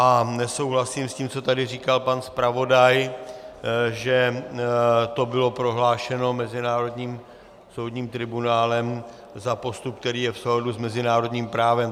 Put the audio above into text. A nesouhlasím s tím, co tady říkal pan zpravodaj, že to bylo prohlášeno mezinárodním soudním tribunálem za postup, který je v souladu s mezinárodním právem.